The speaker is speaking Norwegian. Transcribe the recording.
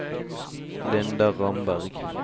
Linda Ramberg